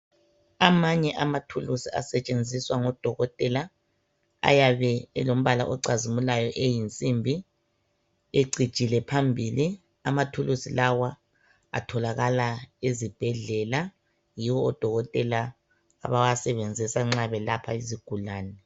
Amanye amathulusi asetshenziswa ngodokotela ayabe elombala ocazimulayo eyinsimbi ecijile phambili. Amathulusi lawa atholakala ezibhedlela yiwo odokotela abawasebenzisa nxa belapha izigulane.